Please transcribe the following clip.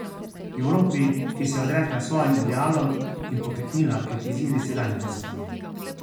Evropi, ki se je odrekla svojim idealom in pokleknila pred izzivi sedanjosti.